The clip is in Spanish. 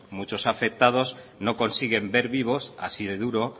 muchos afectados no consiguen ver vivos así de duro